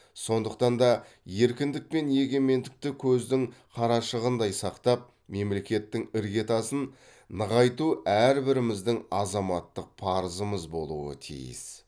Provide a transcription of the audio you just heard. сондықтан да еркіндік пен егемендікті көздің қарашығындай сақтап мемлекеттің іргетасын нығайту әрбіріміздің азаматтық парызымыз болуы тиіс